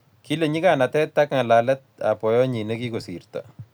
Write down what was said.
kile nyikanatet ka ngalalet ab boyonyi ne kikosirto